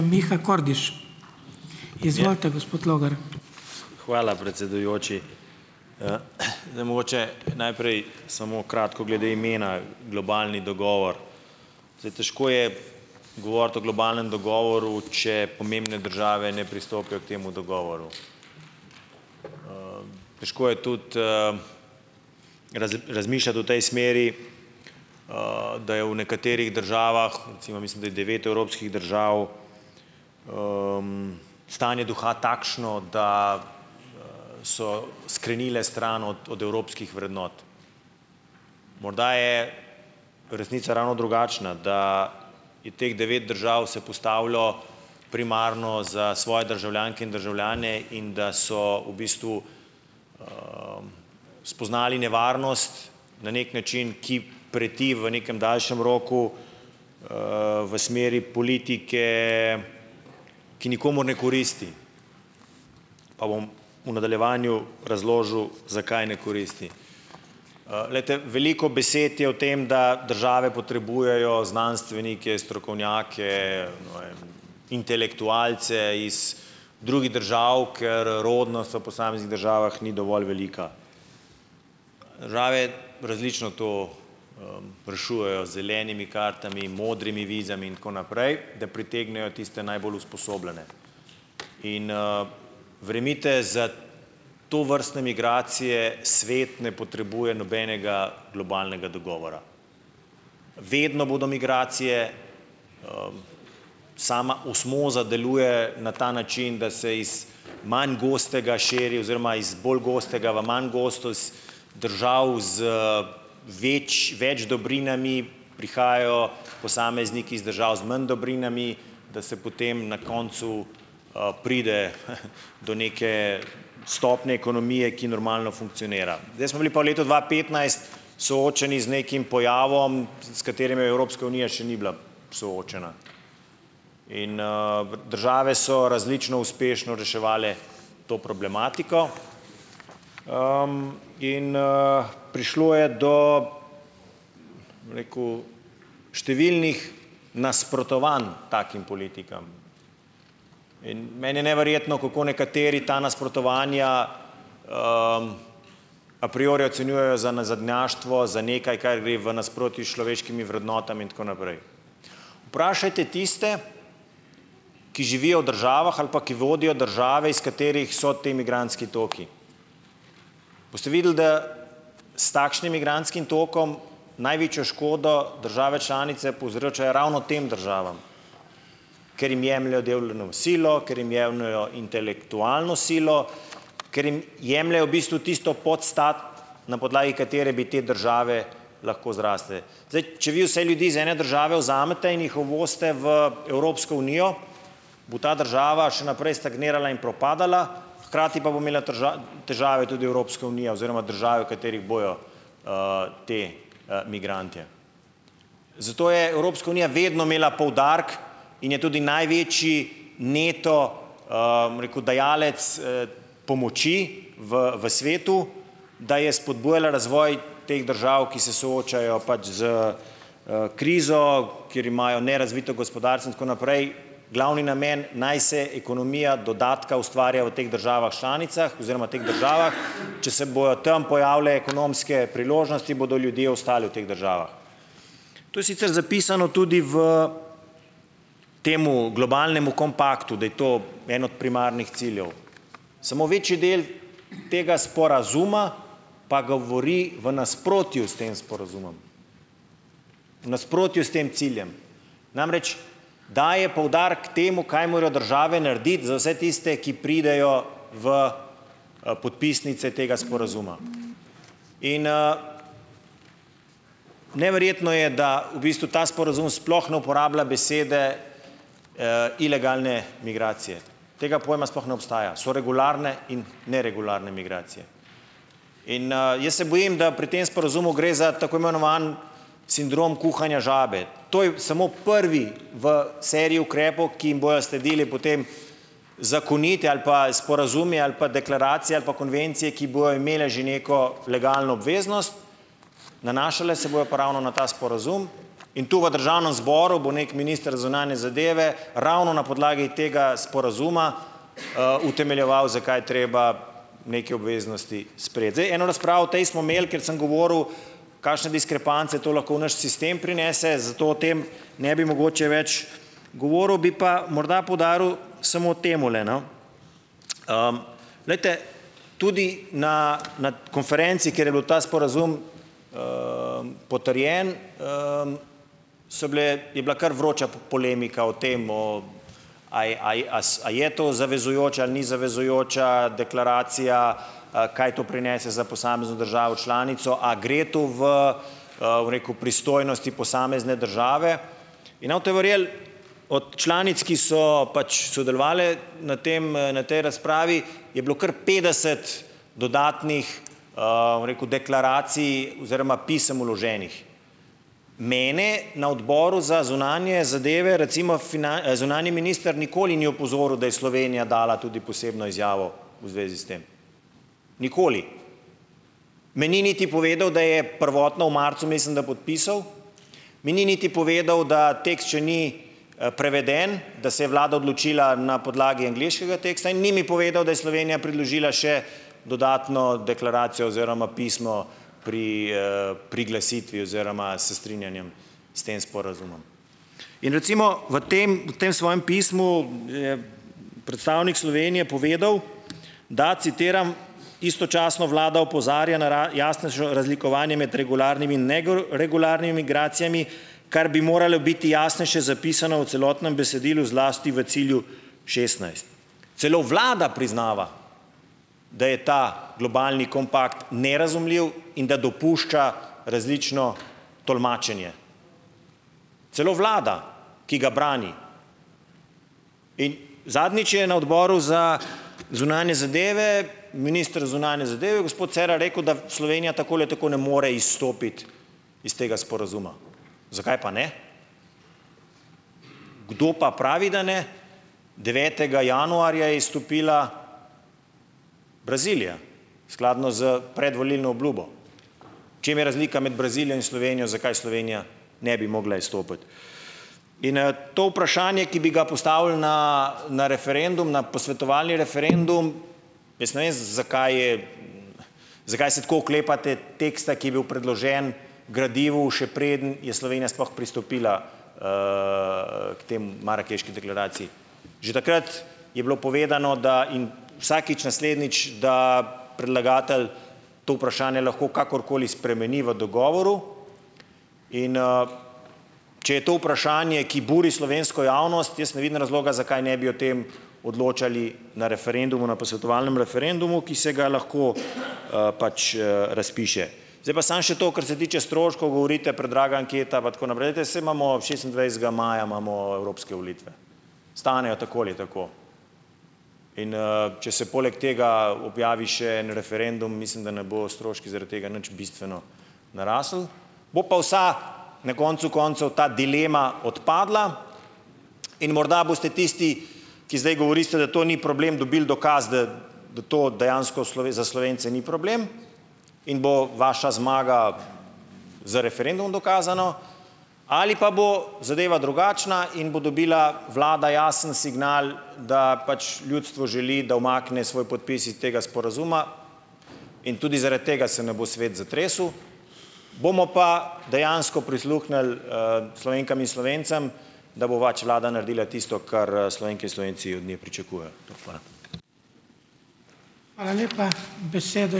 Hvala, predsedujoči. Zdaj mogoče najprej samo kratko glede imena globalni dogovor. Zdaj, težko je govoriti o globalnem dogovoru, če pomembne države ne pristopijo k temu dogovoru. Težko je tudi, razmišljati v tej smeri, da je v nekaterih državah, recimo, mislim, da je devet evropskih držav stanje duha takšno, da, so skrenile stran od od evropskih vrednot. Morda je resnica ravno drugačna, da je teh devet držav se postavilo primarno za svoje državljanke in državljane in da so v bistvu spoznali nevarnost na neki način, ki preti v nekem daljšem roku, v smeri politike, ki nikomur ne koristi, pa bom v nadaljevanju razložil, zakaj ne koristi. glejte, veliko besed je v tem, da države potrebujejo znanstvenike, strokovnjake, ne vem, intelektualce iz drugih držav, ker rodnost v posameznih državah ni dovolj velika. Države različno to, rešujejo, z zelenimi kartami, modrimi vizami in tako naprej, da pritegnejo tiste najbolj usposobljene. In, verjemite, za tovrstne migracije svet ne potrebuje nobenega globalnega dogovora. Vedno bodo migracije. Sama osmoza deluje na ta način, da se iz manj gostega širi oziroma iz bolj gostega v manj gosto, iz držav z več več dobrinami prihajajo posamezniki iz držav z manj dobrinami, da se potem na koncu, pride, do neke stopnje ekonomije, ki normalno funkcionira. Zdaj smo bili pa v letu dva petnajst soočeni z nekim pojavom, z, s katerim je Evropska unija še ni bila soočena. In, v državah so različno uspešno reševali to problematiko in, prišlo je do, bom rekel, številnih nasprotovanj takim politikam. In meni je neverjetno, kako nekateri ta nasprotovanja a priori ocenjujejo za nazadnjaštvo, za nekaj kar gre v nasprotju s človeškimi vrednotami in tako naprej. Vprašajte tiste, ki živijo v državah ali pa ki vodijo države, iz katerih so te migrantski tokovi. Boste videli, da s takšnim migrantskim tokom največjo škodo države članice povzročajo ravno tem državam, ker jim jemljejo dolovno silo, ker jim jemljejo intelektualno silo, ker jim jemljejo v bistvu tisto podstat, na podlagi katere bi te države lahko zrasle. Zdaj, če vi vse ljudi iz ene države vzamete in jih uvozite v Evropsko unijo, bo ta država še naprej stagnirala in propadala, hkrati pa bo imela težave tudi Evropska unija oziroma države, v katerih bojo, ti, migrantje. Zato je Evropska unija vedno imela poudarek in je tudi največji neto, bom rekel, dajalec, pomoči v, v svetu, da je spodbujala razvoj teh držav, ki se soočajo pač s, krizo, kjer imajo nerazvito gospodarstvo in tako naprej, glavni namen, naj se ekonomija dodatka ustvarja v teh državah članicah oziroma teh državah, če se bojo tam pojavile ekonomske priložnosti, bodo ljudje ostali v teh državah. To je sicer zapisano tudi v tem globalnem kompaktu, da je to en od primarnih ciljev. Samo večji del tega sporazuma pa govori v nasprotju s tem sporazumom, v nasprotju s tem ciljem. Namreč, daje poudarek temu, kaj morajo države narediti za vse tiste, ki pridejo v, podpisnice tega sporazuma. In, neverjetno je, da v bistvu ta sporazum sploh ne uporablja besede, ilegalne migracije, tega pojma sploh ne obstaja. So regularne in neregularne migracije in, jaz se bojim, da pri tem sporazumu gre za tako imenovan sindrom kuhanja žabe. To je samo prvi v seriji ukrepov, ki jim bojo sledile potem zakonite ali pa sporazum je ali pa deklaracija ali pa konvencije, ki bojo imele že neko legalno obveznost, nanašale se bodo pa ravno na ta sporazum in tu v državnem zboru bo neki minister za zunanje zadeve ravno na podlagi tega sporazuma, utemeljeval, zakaj je treba neke obveznosti sprejeti. Zdaj, eno razpravo o tej smo imeli, ker sem govoril kakšne diskrepance to lahko v naš sistem prinese, zato o tem ne bi mogoče več govoril. Bi pa morda poudaril samo temule, no: glejte, tudi na, na konferenci, kjer je bil ta sporazum potrjen, so bile je bila kar vroča polemika o tem, o a a a a je to zavezujoča ali ni zavezujoča deklaracija, kaj to prinese za posamezno državo članico, a gre tu v, bom rekel pristojnosti posamezne države. In ne boste verjeli, od članic, ki so pač sodelovale na tem, na tej razpravi, je bilo kar petdeset dodatnih, bom rekel, deklaracij oziroma pisem vloženih. Mene na odboru za zunanje zadeve recimo zunanji minister nikoli ni opozoril, da je Slovenija dala tudi posebno izjavo v zvezi s tem. Nikoli, me ni niti povedal, da je prvotno v marcu, mislim, da podpisal, mi ni niti povedal, da tekst še ni, preveden, da se je vlada odločila na podlagi angleškega teksta, in ni mi povedal, da je Slovenija predložila še dodatno deklaracijo oziroma pismo pri, priglasitvi oziroma s strinjanjem s tem sporazumom. In recimo v tem, v tem svojem pismu je predstavnik Slovenije povedal, da - citiram: "Istočasno vlada opozarja na jasnejšo razlikovanje med regularnimi in regularnimi migracijami, kar bi moralo biti jasnejše zapisano v celotnem besedilu, zlasti v cilju šestnajst." Celo vlada priznava, da je ta globalni kompakt nerazumljiv in da dopušča različno tolmačenje. Celo vlada, ki ga brani. In zadnjič je na odboru za zunanje zadeve minister za zunanje zadeve, gospod Cerar rekel, da Slovenija tako ali tako ne more izstopiti iz tega sporazuma. Zakaj pa ne? Kdo pa pravi, da ne? Devetega januarja je izstopila Brazilija, skladno s predvolilno obljubo. V čem je razlika med Brazilijo in Slovenijo? Zakaj Slovenija ne bi mogla izstopiti? In, to vprašanje, ki bi ga postavili na na referendum, na posvetovalni referendum, jaz ne vem, zakaj je ... zakaj se tako oklepate teksta, ki je bil predložen gradivu, še preden je Slovenija sploh pristopila k tej marakeški deklaraciji? Že takrat je bilo povedano, da, in vsakič naslednjič, da predlagatelj to vprašanje lahko kakorkoli spremeni v dogovoru, in, če je to vprašanje, ki buri slovensko javnost, jaz ne vidim razloga, zakaj ne bi o tem odločali na referendumu, na posvetovalnemu referendumu, ki se ga lahko, pač, razpiše. Zdaj pa samo še to, kar se tiče stroškov, govorite, predraga anketa pa tako naprej, te saj imamo, šestindvajsetega maja imamo evropske volitve. Stanejo tako ali tako. In, če se poleg tega objavi še en referendum, mislim, da ne bojo stroški zaradi tega nič bistveno narasli. Bo pa vsa na koncu koncev ta dilema odpadla in morda boste tisti, ki zdaj govorite, da to ni problem, dobili dokaz, da do to dejansko za Slovence ni problem in bo vaša zmaga z referendumom dokazana ali pa bo zadeva drugačna in bo dobila vlada jasen signal, da pač ljudstvo želi, da umakne svoj podpis iz tega sporazuma in tudi zaradi tega se ne bo svet zatresel. Bomo pa dejansko prisluhnili, Slovenkam in Slovencem, da bo pač vlada naredila tisto, kar, Slovenke in Slovenci od nje pričakujejo. Hvala.